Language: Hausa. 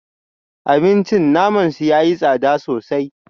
Abincin naman su yayi tsada sosai